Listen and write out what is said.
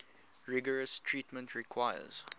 rigorous treatment requires